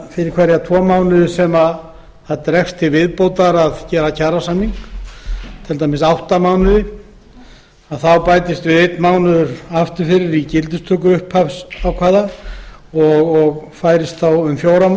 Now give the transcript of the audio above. fyrir hverja tvo mánuði sem samningsgerð dregst til viðbótar til dæmis í átta mánuði bætist einn mánuður við aftur fyrir í gildistöku upphafsákvæðis og færist þá í fjóra